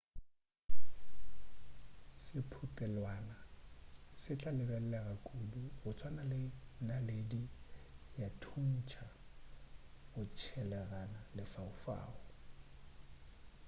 sephutelwana se tla lebelelega kudu go tswana le naledi ya thuntša go tshelaganya lefaufau